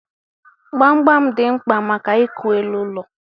Gbamgbam dị mkpa maka ịkụ elu ụlọ.